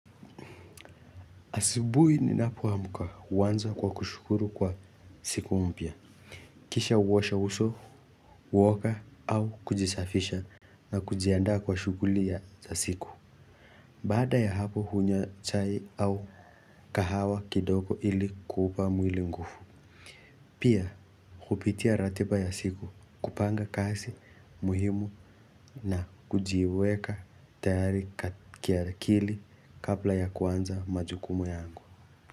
Asubuhi ninapoamka huanza kwa kushukuru kwa siku mpya. Kisha huosha uso, huoga au kujisafisha na kujiandaa kwa shughuli za siku. Baada ya hapo hunywa chai au kahawa kidogo ili kuupa mwili nguvu. Pia kupitia ratiba ya siku kupanga kazi muhimu na kujiweka tayari ka kiakili kabla ya kuanza majukumu yangu.